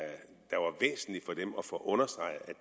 få understreget